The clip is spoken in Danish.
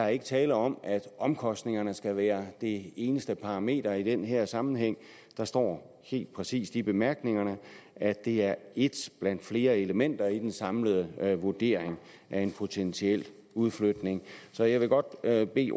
er tale om at omkostningerne skal være det eneste parameter i den her sammenhæng der står helt præcist i bemærkningerne at det er et blandt flere elementer i den samlede vurdering af en potentiel udflytning så jeg vil godt bede bede